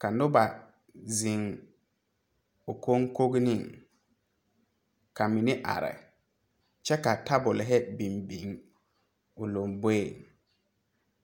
kyɛ pɛgle baagirre kyɛ yɛre kpare tɛɛtɛɛ.